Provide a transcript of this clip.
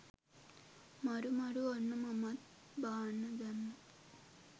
මරු මරු ඔන්න මමත් බාන්න දැම්මා.